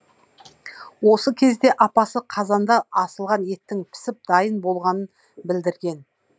осы кезде апасы қазанда асылған еттің пісіп дайын болғанын білдірген